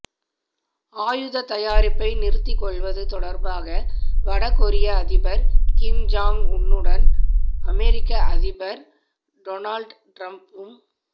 ஆயுதத் தயாரிப்பை நிறுத்திக் கொள்வது தொடர்பாக வட கொரிய அதிபர் கிம் ஜாங் உன்னுடன் அமெரிக்க அதிபர் டொனால்டு டிரம்ப்பும்